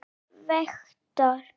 hjá Vektor.